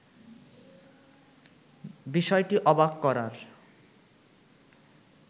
বিষয়টি অবাক করার